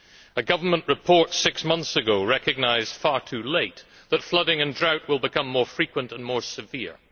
A government report six months ago recognised far too late that flooding and drought will become more frequent and more severe.